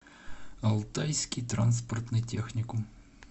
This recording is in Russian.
алтайский транспортный техникум